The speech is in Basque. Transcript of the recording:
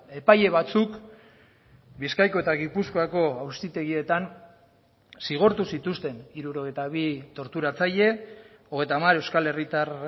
epaile batzuk bizkaiko eta gipuzkoako auzitegietan zigortu zituzten hirurogeita bi torturatzaile hogeita hamar euskal herritar